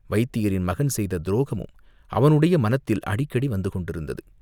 வைத்தியரின் மகன் செய்த துரோகமும் அவனுடைய மனத்தில் அடிக்கடி வந்து கொண்டிருந்தது!